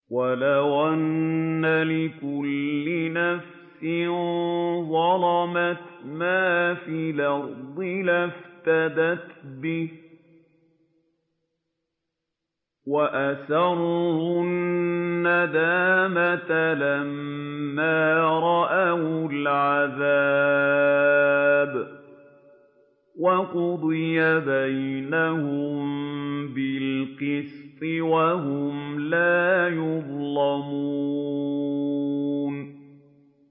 وَلَوْ أَنَّ لِكُلِّ نَفْسٍ ظَلَمَتْ مَا فِي الْأَرْضِ لَافْتَدَتْ بِهِ ۗ وَأَسَرُّوا النَّدَامَةَ لَمَّا رَأَوُا الْعَذَابَ ۖ وَقُضِيَ بَيْنَهُم بِالْقِسْطِ ۚ وَهُمْ لَا يُظْلَمُونَ